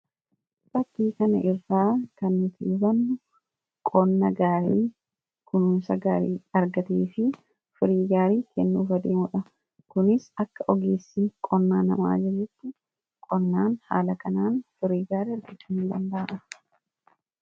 Fakkii kana irraa kan hubannu qonna kununsa gaarii argatee fi firii gaarii kennu kunis akka ogeessi qonnaa nama ajajjetti qonnaan haala kanaan firiigaarii argachuu in danda'ama.